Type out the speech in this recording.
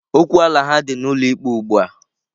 Okwu ala ha dị n'ụlọ ikpe ugbua.